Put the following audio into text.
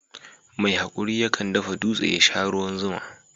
Mai haƙuri yakan dafa dutse ya sha ruwan zuma.